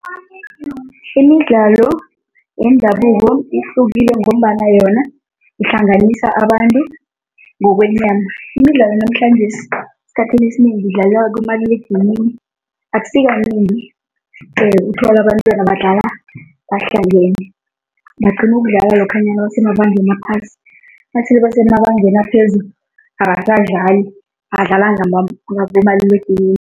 Imidlalo yendabuko ihlukile ngombana yona ihlanganisa abantu ngokwenyama. Imidlalo yanamhlanjesi, esikhathini esinengi idlalwa kumaliledinini, akusikanengi uthola abantwana badlala bahlangene, bagcina ukudlala lokhanyana nabasemabangeni aphasi, nasele basemabangeni aphezulu, abasadlali, badlala ngabomaliledinini.